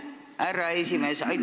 Aitäh, härra esimees!